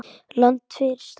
Land fyrir stafni!